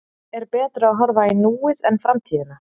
Er betra að horfa í núið en framtíðina?